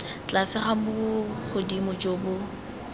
tlase ga bogodimo jo bo